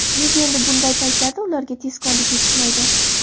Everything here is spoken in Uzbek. Nega endi bunday paytlarda ularga tezkorlik yetishmaydi”.